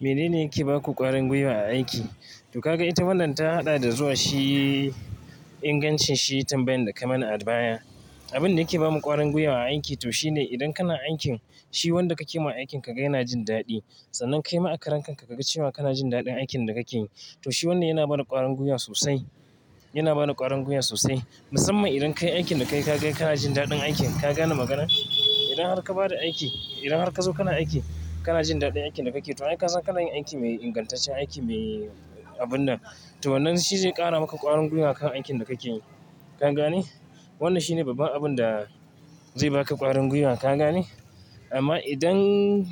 Mene ne yake baku ƙwarin gwiwa a aiki? To kaga ita wannan ta haɗa da zuwa shi ingancin shi tambayan da ka mana adba ya. Abin da yake bamu ƙwarin gwiwa a aiki to shine idan kana aikin shi wanda kake ma aikin ka ga yana jin daɗi. Sannan kai ma a karen ka kaga cewa kana jin daɗin aikin da kake yi. To shi wanne yana baniƙwarin gwiwa sosai, yana bani ƙwarin gwiwa sosai. Musamman idan kai aikin da ka kai ka kai kana jin daɗin aikin ka gane maganar? Idan har ka bada aiki, idan har ka zo kana aiki kana jin daɗin aikin da kake yi to ai ka san kana yin aiki mai ingantaccen aiki mai abun nan. To wannan shi zai ƙara maka ƙwarin gwiwa kan aikin da kake yi ka gane? Wannan shine babban abin da zai baka ƙwarin gwiwa ka gane? Amma idan,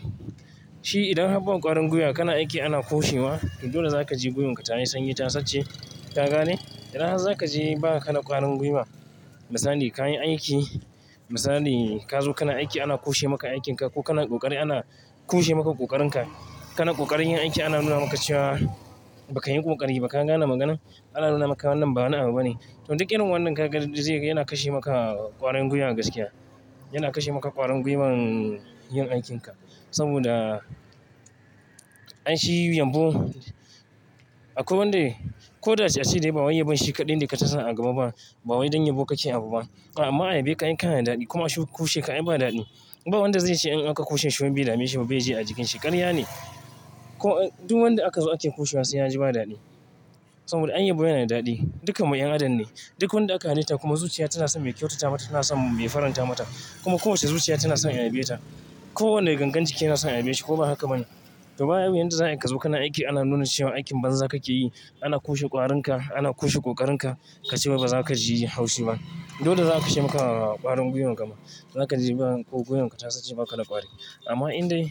shi idan har ba ka ƙwarin gwiwa kana aiki ana kushewa to dole zaka je gwiwon ka ta yi sanyi ta sace ka gane? Idan har zaka je ba ka da ƙwarin gwiwa. Misali ka yi aiki, misali ka zo kana aiki ana kushe maka aikin ka ko kana ƙoƙari ana kushe maka ƙoƙarin ka. Kana ƙoƙarin yin aiki ana nuna maka cewa ba ka yin ƙoƙari ba ka gane magana? Ana nuna maka wannan bawa'ni'a bu ba ne. To duk irin wannan ka ga zai yana kashe maka ƙwarin gwiwan gaskiya. Yana kashe maka ƙwarin gwiwan yin aikin ka. Saboda an shi yumbu. Akwai wanda ko da ya ce ashe dai ba waye yabon shi kaɗan da ka ta sa a gaba ba. Ba waye don yabo kake abu ba. Amma ayyaba ka yi ka na daɗi kuma ashe kushe ka ai ba daɗi. Ba wanda zai ce in aka kushe shi baidameshi baiji a jikinshi ƙarya ne. Ko duk wanda aka zo ake kushewa sai ya ji ba daɗi. Saboda ayyabo yana da daɗi. Dukkan mu 'yan adam ne. Duk wanda aka halitta kuma zuciya tana son me kyautata mata tana son me faranta mata. Kuma kowacce zuciya tana son ayyabeta. Ko wane gangan jiki yana son ayyabe shi ko ba haka bane. To ba bu yadda za'a yi ka zo kana aiki ana nuna cewa aikin banza kake yi. Ana kushe ƙwarin ka, ana kushe ƙoƙarin ka ka cewa ba za ka ji haushi ba. Dole za'a kashe maka ƙwarin gwiwon ka ma. Zaka je ba gwiwon ka ta sace maka bakada ƙwari. Amma in dai,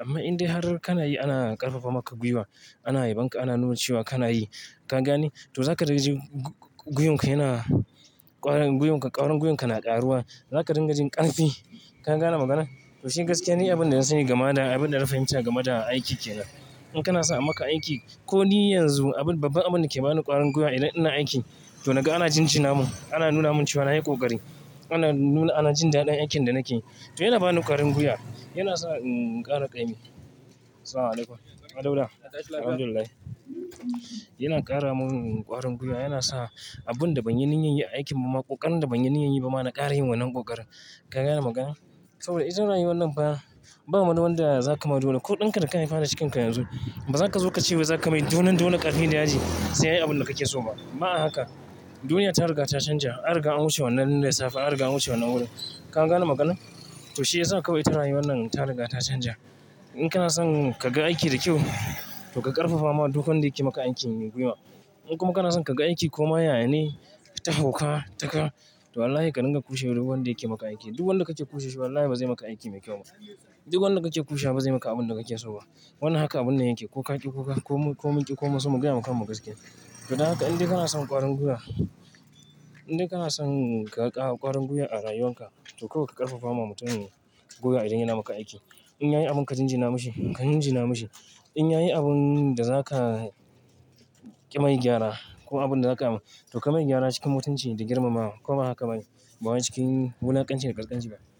amma in dai har kana yi ana ƙarfafa maka gwiwa, ana yabon ka ana nuna cewa kana yi ka gane? To za ka ringa jin gwiwon ka yana, ƙwarin gwiwon ka, ƙwarin gwiwon ka na ƙaruwa. Za ka ringa jin ƙarfi ka gane maganar? To shi gaskiya ne abin da yan sani gama da abin da na fahimta gama da aiki kenan. In kana son a maka aiki ko ni yanzu abin, babban abin da yake bani ƙwarin gwiwa idan ina aiki to naga ana jin ji na mun. Ana nuna mun cewa nayi ƙoƙari. Ana nuna, ana jin daɗin aikin da nake yi. To yana bani ƙwarin gwiwa. Yana sa inƙara ƙaimi. Yana ƙara mun ƙwarin gwiwa yana sa abin da ban yi niyyan yin aikin mu ma ƙoƙarin da ban yi niyyan yi ba ma na ƙara yin wannan ƙoƙarin ka gane magana? Saboda ita rayuwan nan ba, ba madawanda za ka madawa dole ko ɗinka da ka haifa cikin ka yanzu. Ba za ka zo ka ce ba za ka mai dolen dole ƙarfin daji sai ayi abin da kake so ba. Ba a haka. Duniya ta riga ta canja. An riga an wuce wannan na da safe, an riga an wuce wannan wurin ka gane maganar? To shi yasa kawai ita rayuwan nan ta riga ta canja. In kana son ka ga aiki da kyau to ka ƙarfafa ma duk wanda yake maka aikin yi gwiwa. In kuma kana son ka ga aiki koma yaya ne ta hauka, taƙa to wallahi ka ringa kushe duk wanda yake maka aiki. Duk wanda kace kushe shi wallahi ba zai maka aiki mai kyau ba. Duk wanda kake kushewa ba zai maka abun da kake so ba. Wannan haka abunan yake ko ka ƙi ko ka. Ko mun ƙi ko mun so mu gaya makammu gaskiya. To dan haka in dai kana son ƙwarin gwiwa, in dai kana son ka ga ƙwarin gwiwa a rayuwan ka to kawai ka ƙarfafa ma mutumin gwiwa idan yana maka aiki. In yayi abun ka jin ji na mishi, ka jin ji na mishi. In yayi abun da za ka ƙi mai gyara ko abun da za ka to ka mai gyara cikin mutunci da girmamawa ko ba haka bane. Ba wai cikin wulaƙanci da kaskanci ba.